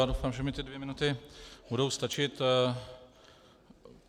Já doufám, že mi ty dvě minuty budou stačit.